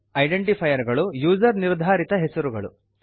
identifier ಗಳು user ನಿರ್ಧಾರಿತ ಹೆಸರುಗಳು